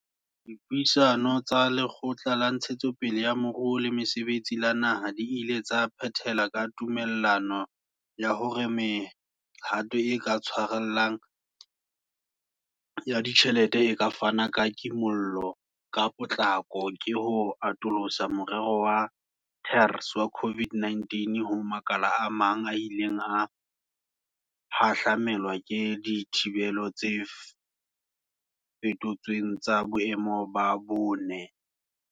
Dipuisano le Lekgotla la Ntshetsopele ya Moruo le Mosebetsi la Naha di ile tsa phethela ka tumellano ya hore mehato e ka tshwarellang ya ditjhelete e ka fanang ka kimollo ka potlako ke ho atolosa moremo wa TERS wa COVID-19 ho makala a mang a ileng a hahlamelwa ke dithibelo tse feto tsweng tsa boemo ba bone.